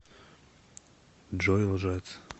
джой лжец